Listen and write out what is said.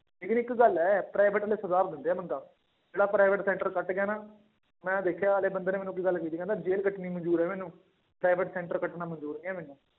ਲੇਕਿੰਨ ਇੱਕ ਗੱਲ ਹੈ private ਵਾਲੇ ਸੁਧਾਰ ਦਿੰਦੇ ਆ ਬੰਦਾ, ਜਿਹੜਾ private center ਕੱਟ ਗਿਆ ਨਾ, ਮੈਂ ਦੇਖਿਆ ਨਾਲੇ ਬੰਦੇ ਨੇ ਮੈਨੂੰ ਇੱਕ ਗੱਲ ਕਹੀ ਸੀ ਕਹਿੰਦਾ ਜੇਲ੍ਹ ਕੱਟਣੀ ਮੰਨਜ਼ੂਰ ਹੈ ਮੈਨੂੰ private center ਕੱਟਣਾ ਮੰਨਜ਼ੂਰ ਨੀ ਹੈ ਮੈਨੂੰ।